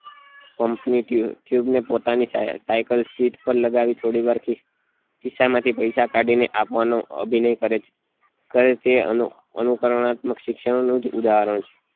pump ની tube ને પોતાની cycle sheet પર લગાવી થોડી વાર થી ખિસ્સા માંથી પૈસા કાઢી ને આપવા નું અભિનય કરે છે કરે એ અનુ અનુંકરુનાત્મક શિક્ષણ નું જ ઉદાહરણ છે